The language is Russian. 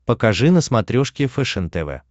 покажи на смотрешке фэшен тв